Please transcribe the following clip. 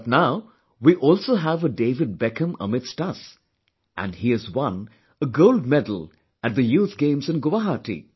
But now we also have a David Beckham amidst us and he has won a gold medal at the Youth Games in Guwahati